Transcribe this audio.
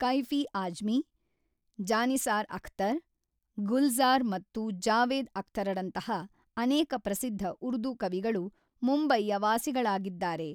ಕೈಫಿ ಆಜ್ಮಿ , ಜಾನಿಸಾರ್ ಅಖ್ತರ್, ಗುಲ್ಝಾರ್ ಮತ್ತು ಜಾವೇದ್ ಅಖ್ತರರಂತಹ ಅನೇಕ ಪ್ರಸಿದ್ಧ ಉರ್ದು ಕವಿಗಳು ಮುಂಬೈಯ ವಾಸಿಗಳಾಗಿದ್ದಾರೆ.